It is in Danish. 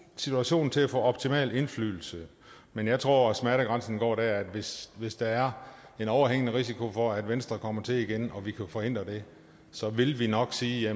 situationen til at få optimal indflydelse men jeg tror at smertegrænsen går der at hvis hvis der er en overhængende risiko for at venstre kommer til igen og vi kan forhindre det så vil vi nok sige